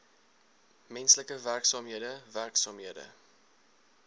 menslike werksaamhede werksaamhede